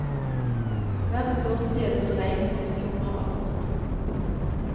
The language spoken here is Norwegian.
Hvert år stjeles rein for millioner av kroner.